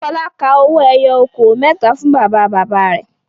Fọlá ka owó ẹyọ okòó mẹ́ta fún bàbá-bàbá rẹ̀.